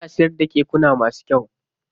Yana siyar da kekuna masu kyau.